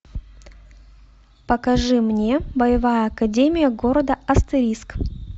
покажи мне боевая академия города астериск